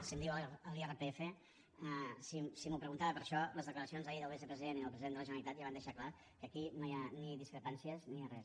si em diu l’irpf si m’ho preguntava per això les declaracions d’ahir del vicepresident i del president de la generalitat ja van deixar clar que aquí no hi ha ni discrepàncies ni hi ha res